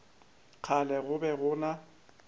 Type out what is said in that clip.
kgale go be go na